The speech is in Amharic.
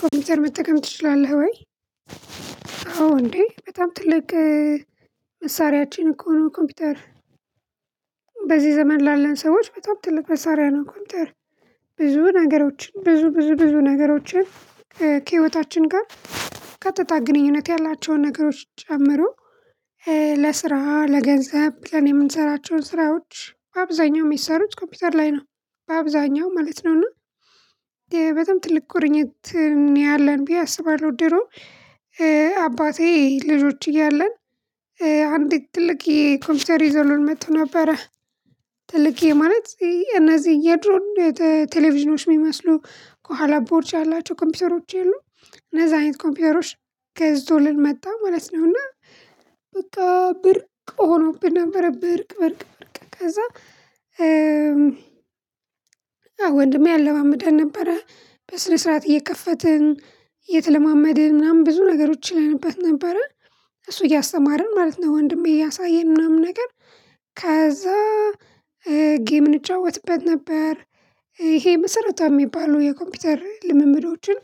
ኮምፒውተር መጠቀም ትችላለህ ወይ፣ አዎ እንዴ በጣም ትል መሳሪያችን እኮ ነው ኮምፒውተር። በዚህ ዘመን ላለን ሰዎች በጣም ትልቅ መሳሪያ ነው ኮምፒውተር። ብዙ ነገሮችን ብዙ ብዙ ብዙ ነገሮችን ከህይወታችን ጋር ቀጥታ ግንኙነት ያላቸውን ነገሮች ጨምሮ- ለስራ :ለገንዘብ ብለን የምንሰራቸውን ስራዎች በአብዛኛው የሚሰሩት ኮምፒውተር ላይ ነው። በአብዛኛው ማለት ነው። እና በጣም ትልቅ ቁርኝት ነው ያለን ብዬ አስባለሁ። ድሮ አባቴ ልጆች እያለን አንዲት ትልቅየ ኮምፒውተር ይዞልን መጥቶ ነበረ። ትልቅ ማለት እነዚህ የድሮን ቴሌቪዥኖች የሚመስሉ ከኋላ ቦርጭ ያላቸው ኮምፒውተሮች የሉም እነዛ አይነት ኮምፒውተሮች ገዝቶልን መጣ ማለት ነው። እና በቃ ብርቅ ሆኖብን ነበረ። ብርቅ ብርቅ ብርቅ ከዛ- አዎ ወንድሜ ያለማምደን ነበረ። በስነ ስርዓት እየከፈትን እየተለማመድን ምናምን ብዙ ነገሮች እንልበት ነበረ። እሱ እያስተማርን ማለት ነው። ወንድሜ እያሳየን ምናምን ነገር- ከዛ ጌም እንጫወትበት ነበር። ይሄ መሰረታዊ የሚባሉ የኮምፒውተር ልምምዶችን